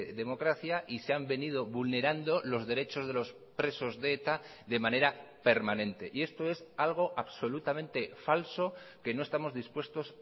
democracia y se han venido vulnerando los derechos de los presos de eta de manera permanente y esto es algo absolutamente falso que no estamos dispuestos